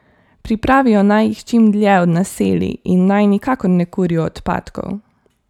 Pripravijo naj jih čim dlje od naselij in naj nikakor ne kurijo odpadkov.